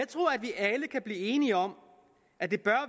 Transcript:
jeg blive enige om at det bør